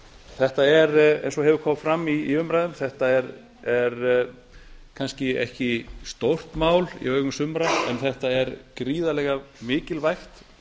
þetta er eins og hefur komið fram í umræðum kannski ekki stórt mál í augum sumra en þetta er gríðarlega mikilvægt